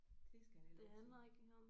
Det skal han have lov til